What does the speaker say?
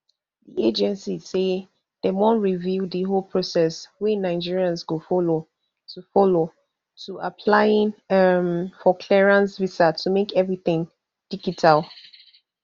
di agency say dem wan review di whole process wey nigerians go follow to follow to applying um for clearance visa to make everytin digital